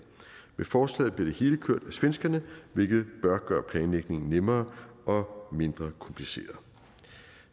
med forslaget bliver det hele kørt af svenskerne hvilket bør gøre planlægningen nemmere og mindre kompliceret